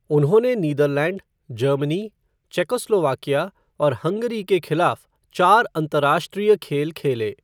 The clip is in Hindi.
उन्होंने नीदरलैंड, जर्मनी, चेकोस्लोवाकिया और हंगरी के खिलाफ़ चार अंतर्राष्ट्रीय खेल खेले।